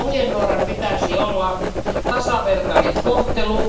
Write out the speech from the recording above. Kyllä ohjenuorana pitäisi olla tasavertainen kohtelu.